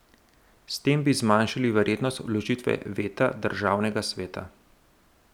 S tem bi zmanjšali verjetnost vložitve veta državnega sveta.